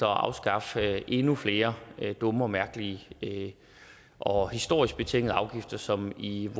at afskaffe endnu flere dumme og mærkelige og historisk betingede afgifter som i